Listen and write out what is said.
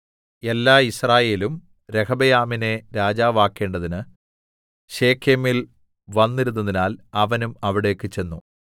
എല്ലാ യിസ്രായേലും രെഹബെയാമിനെ രാജാവാക്കേണ്ടതിന് ശെഖേമിൽ വന്നിരുന്നതിനാൽ അവനും അവിടേക്ക് ചെന്നു